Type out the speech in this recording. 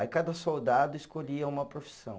Aí cada soldado escolhia uma profissão.